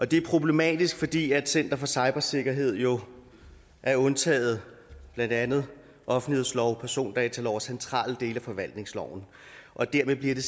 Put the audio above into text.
det er problematisk fordi center for cybersikkerhed jo er undtaget blandt andet offentlighedsloven persondataloven og centrale dele af forvaltningsloven og dermed bliver det